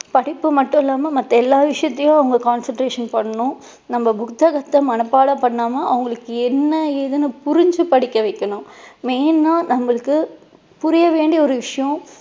படிப்பு மட்டும் இல்லாம மத்த எல்லா விஷயத்துலேயும் அவங்க concentration பண்ணணும். நம்ம புத்தகத்தை மனப்பாடம் பண்ணாம அவங்களுக்கு என்ன ஏதுன்னு புரிஞ்சு படிக்க வைக்கணும் main ஆ நம்மளுக்கு புரிய வேண்டிய ஒரு விஷயம்